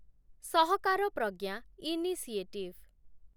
Sahakar Pragya initiative